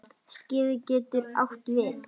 Skeið getur átt við